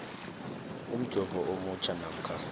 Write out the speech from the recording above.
umjovo omutjha namkha